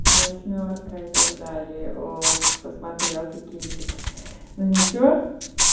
восьмёрка и так далее ох посмотрел ты кинчик но ничего